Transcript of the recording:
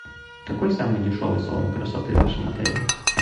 какой самый дешевый салон красоты в вашем отеле